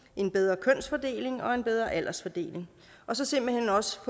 en bedre kønsfordeling og en bedre aldersfordeling og så simpelt hen også